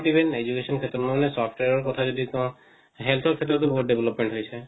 not even education ক্ষেত্ৰত মই মানে software ৰ কথা যদি কও health ৰ ক্ষেত্ৰত ও বহুত development হৈছে